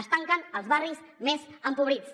es tanquen als barris més empobrits